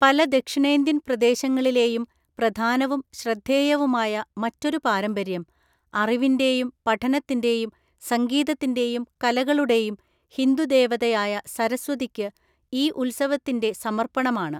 പല ദക്ഷിണേന്ത്യൻ പ്രദേശങ്ങളിലെയും പ്രധാനവും ശ്രദ്ധേയവുമായ മറ്റൊരു പാരമ്പര്യം, അറിവിൻ്റെയും പഠനത്തിൻ്റെയും സംഗീതത്തിൻ്റെയും കലകളുടെയും ഹിന്ദു ദേവതയായ സരസ്വതിക്ക് ഈ ഉത്സവത്തിൻ്റെ സമർപ്പണമാണ്.